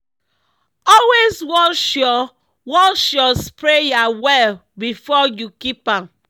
always wash your wash your sprayer well before you keep am.